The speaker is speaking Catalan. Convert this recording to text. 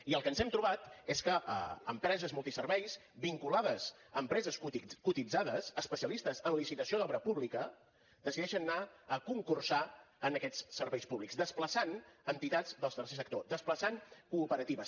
i el que ens hem trobat és que empreses multiserveis vinculades a empreses cotitzades especialistes en licitació d’obra pública decideixen anar a concursar en aquests serveis públics desplaçant entitats del tercer sector desplaçant cooperatives